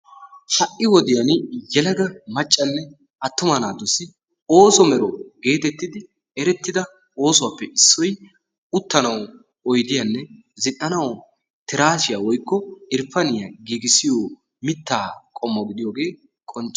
Ha''i wodiyan yelaga maccanne attuma naatussi ooso mero geetettidi erettida oosuwappe issoy uttanawu oydiyanne zina"anawu tiraasiya woykko irppaniya giigissiyo mittaa qommo gidiyogee qoncce.